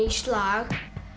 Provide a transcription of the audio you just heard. slag